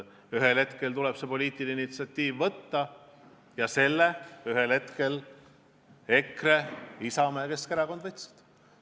Ühel hetkel tuleb poliitiline initsiatiiv võtta ja selle ühel hetkel EKRE, Isamaa ja Keskerakond võtsid.